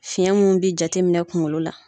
Fiɲɛ minnu bi jateminɛ kunkolo la